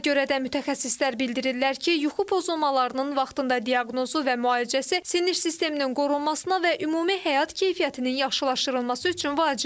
Buna görə də mütəxəssislər bildirirlər ki, yuxu pozulmalarının vaxtında diaqnozu və müalicəsi sinir sisteminin qorunmasına və ümumi həyat keyfiyyətinin yaxşılaşdırılması üçün vacibdir.